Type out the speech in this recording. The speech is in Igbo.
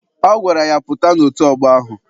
Ọ gwara ya, pụta n'otu ọgbọ ahụ!